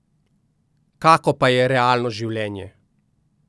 Kako pa je realno življenje?